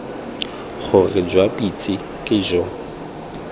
gore jwa pitse ke jo